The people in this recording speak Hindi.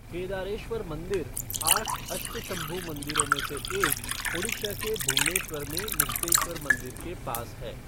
केदारेश्वर मंदिर, आठ अष्टशंभु मंदिरों में से एक, ओडिशा के भुवनेश्वर में मुक्तेश्वर मंदिर के पास है।